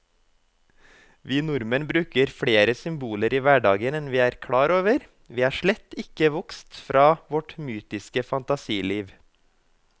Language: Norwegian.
Vi nordmenn bruker flere symboler i hverdagen enn vi er klar over, vi er slett ikke vokst fra vårt mytiske fantasiliv.